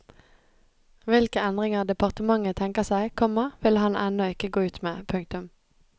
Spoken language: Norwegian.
Hvilke endringer departementet tenker seg, komma vil han ennå ikke gå ut med. punktum